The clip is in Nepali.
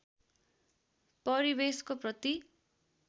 परिवेशको प्रति